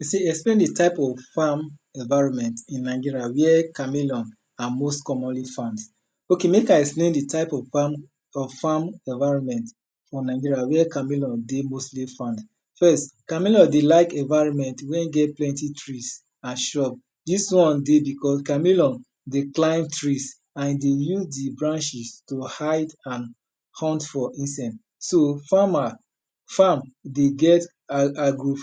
E sey explain di tyes of environment w here chameleon are most commonly found. Ok mek I explain di timfe of farm environment where chameleon dey mostly found. First chameleon dey like environment wen get plenty trees and shrups dis one dey because chameleon dey climb trees and e need di branches to hide and hunt for itself. So farmer, farm dey get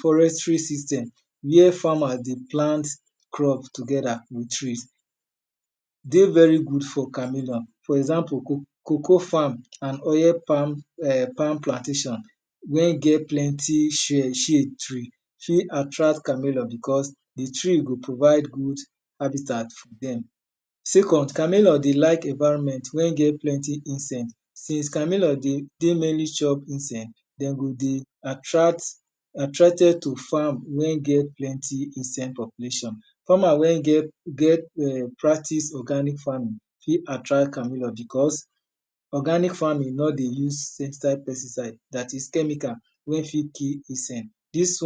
forestry system where farmers dey plant crops together with trees. E dey very good for chameleon for example, cocoa farm and oil farm plantation wen get plenty tree fit attract chameleon because di tree go provide good habitat for dem. Second, chameleon dey like environment wen get plenty insect, since chameleon dey get plenty insect, de go dey attracted to farm wen get plenty insect population,. Farmer wen get practices organic farming fit attract am because organic farming no dey use insecticide dat is chemical wey fit kill insect. Dis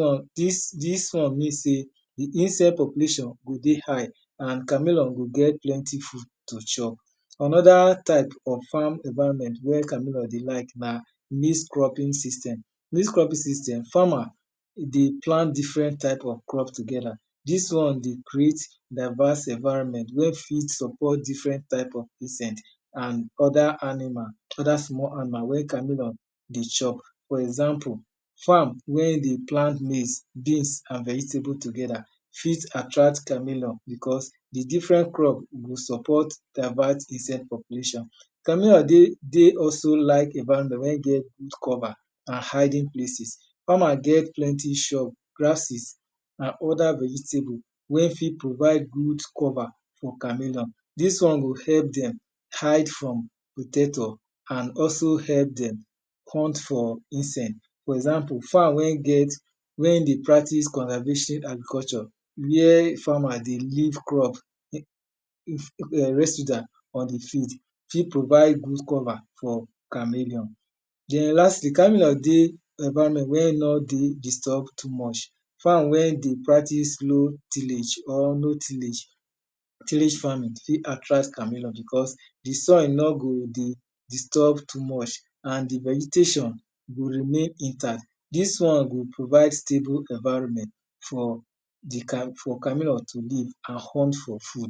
one mean sey di insect population go dey high and chameleon go get plenty food to chop. anoda farm environment wey chameleon dey like na mix cropping system. Mix cropping system na farmer dey pl ant different type of crop together dis one dey creat divers evirnment wey fit suppost different type of insect and other small animal wey chameleon dey chop. for example, farm wey dey plant maize, beans and vegetable together fit attract chameleon because di different crop go support about insect population. Chameleon dey also like about wen get good cover and hiding places. Farmer get plenty grasses and other vegetable wen fit provide good cover for chameleon. Dis one go help dem hide food and also help dem hunt for insect. For example farm wen dey practices convervatory agriculture where farmer dey leave crop fit provide good cover for chameleon. Den lastly chameleon dey environment wen nor disturb too much. Farm wen dey practices low tillage tillage farming fit attract chameleon because di soil nor go dey disturb too much and di vegetation go make impact. Dis one go provide for di chameleon to live and hunt for food.